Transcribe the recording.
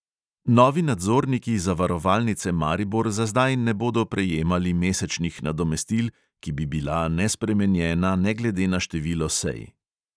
Novi nadzorniki zavarovalnice maribor za zdaj ne bodo prejemali mesečnih nadomestil, ki bi bila nespremenjena ne glede na število sej.